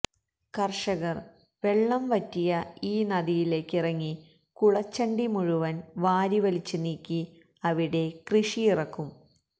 കര്ഷകര് വെള്ളം വറ്റിയ ഈ നദിയിലേക്കിറങ്ങി കുളച്ചണ്ടി മുഴുവന് വാരിവലിച്ച് നീക്കി അവിടെ കൃഷിയിറക്കും